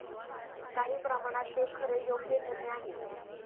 काही प्रमाणात ते खरे योग्य निर्णय आहे.